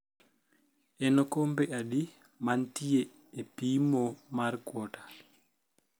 en okombe adi mantie e pimo mar quota